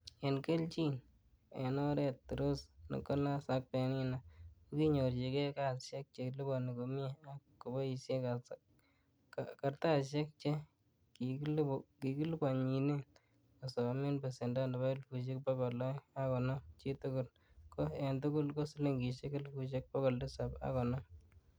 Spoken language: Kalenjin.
En kelchin, en oret Rose, Nicholas ak Penina kokinyorchige kasiaiek che liponi komie, ak koboishie kartasisiek che kikiliponyinen kosomen besendo nebo elfusiek bogol oeng ak konoom chitugul, ko en tugul ko silingisiek elfusiek bogol Tisap ak konoom.